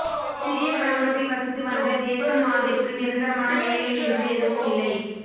சிறிய கிராமத்தில் வசித்து வந்த தேசம்மாவிற்கு நிரந்தரமான வேலை என்று எதுவும் இல்லை